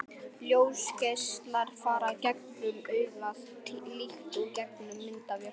Ljósgeislar fara gegnum augað líkt og gegnum myndavél.